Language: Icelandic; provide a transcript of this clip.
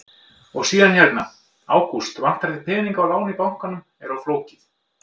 Og síðan hérna: Ágúst, vantar þig peninga og lán í bankanum er of flókið?